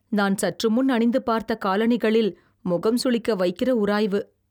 நான் சற்று முன் அணிந்து பார்த்த காலணிகளில் முகம் சுளிக்க வைக்கிற உராய்வு